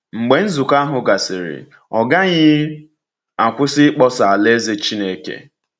Mgbe nzukọ ahụ gasịrị, ọ gaghị akwụsị ịkpọsa Alaeze Chineke.